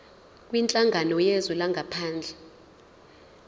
kwinhlangano yezwe langaphandle